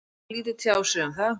Hann vildi lítið tjá sig um það.